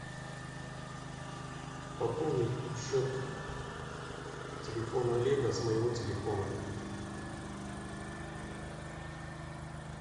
пополнить счет телефона олега с моего телефона